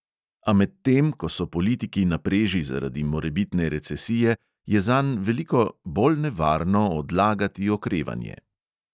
A medtem ko so politiki na preži zaradi morebitne recesije, je zanj veliko "bolj nevarno odlagati okrevanje".